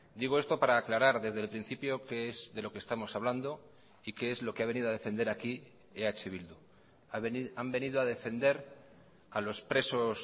digo esto para aclarar desde el principio qué es de lo que estamos hablando y qué es lo que ha venido a defender aquí eh bildu han venido a defender a los presos